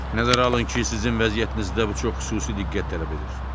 Nəzərə alın ki, sizin vəziyyətinizdə bu çox xüsusi diqqət tələb edir.